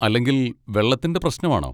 അല്ലെങ്കിൽ വെള്ളത്തിൻ്റെ പ്രശ്നം ആണോ?